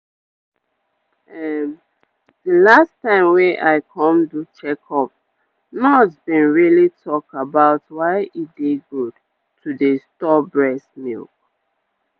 ehm the last time wey i come do checkup nurse been really talk about why e dey good to dey store breast milk